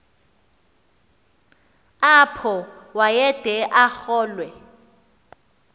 apho wayede arolwe